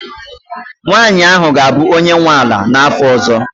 nwanyị ahụ ga-abụ onye nwe ala n'afọ ọzọ